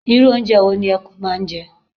Irú oúnjẹ wo ni ẹkún máa ń jẹ?